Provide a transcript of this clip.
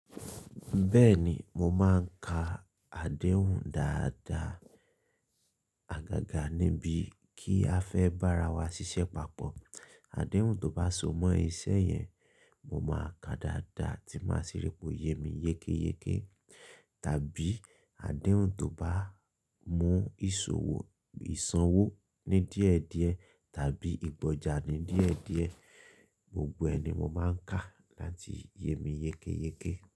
Bẹ́ẹ̀ni, mo máa ń ka adéhùn dáadáa àgàgà níbi kí a fẹ́ bára wa ṣiṣẹ́ papọ̀. Adéhùn tó bá so mọ́ iṣẹ́ yẹn, mo máa kàá dáadáa tí máa sì ripò yémi yékéyéké. Tàbí adéhùn tó bá mú ìṣòwò, ìsanwó ní díẹ̀díẹ̀ tàbí ìgbọjà ní díẹ̀díẹ̀, gbogbo ẹ̀ ni mo máa ń ka láti yé mi yékéyéké.